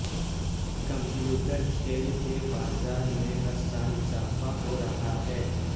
computer کھیل کے بازار میں ہر سال اضافہ ہو رہا ہے